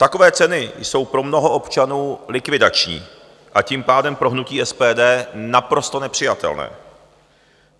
Takové ceny jsou pro mnoho občanů likvidační, a tím pádem pro hnutí SPD naprosto nepřijatelné.